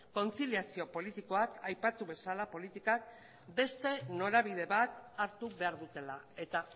kontziliazio politikoak aipatu bezala politikan beste norabide bat hartu behar dutela eta